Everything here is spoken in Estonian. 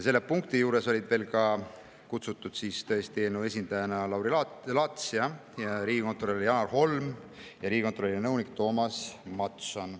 Selle punkti juurde olid kutsutud eelnõu esindajana Lauri Laats, riigikontrolör Janar Holm ja riigikontrolöri nõunik Toomas Mattson.